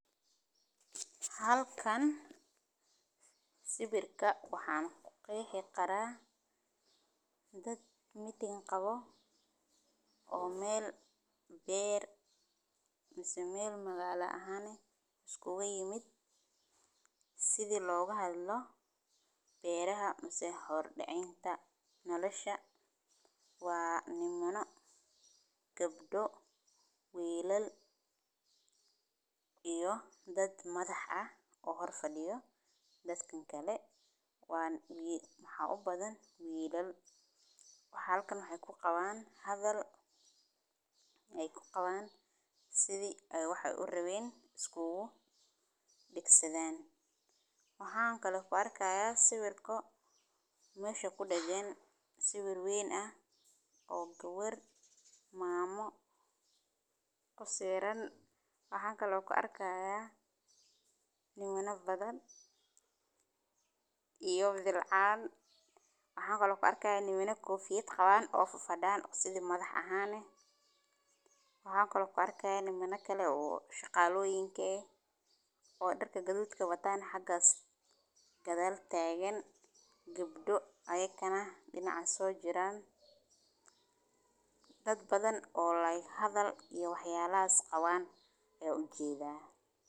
Halkan sawirka waxan ku qeexi karaa dad Meeting qawo meel beer mase meel magala ahan iskugu yimid sidha loga hadlo beeraha mase hordacinta waa nimano gabdo wilal iyo dad madhax ah oo hor fadiyo dadkan kale waxaa u badan wilal waxee halkan ku qawan hadhal sithi ee waxi ee u rawen iskugu degsadhan, waxan kalo kuarka sawirka mesha kidagan sawir wey, waxan kalo ku arki haya bilcan, waxan kalo ku arka nimana kofiyada qawan nimana gadhal tagan gabdo ayagana dinacan so jiran dad badan oo like waxyalahas qawan ayan ujedha.